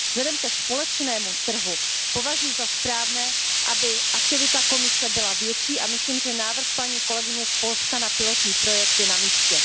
Vzhledem ke společnému trhu považuji za správné, aby aktivita Komise byla větší, a myslím, že návrh paní kolegyně z Polska na pilotní projekt je na místě.